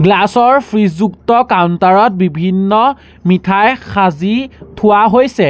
Glass ৰ fridge যুক্ত counter ত বিভিন্ন মিঠাই সাজি থোৱা হৈছে।